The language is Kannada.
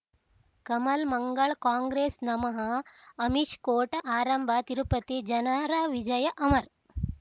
ಕಮಲ್ ಮಂಗಳ್ ಕಾಂಗ್ರೆಸ್ ನಮಃ ಅಮಿಷ್ ಕೋರ್ಟ್ ಆರಂಭ ತಿರುಪತಿ ಜನರ ವಿಜಯ ಅಮರ್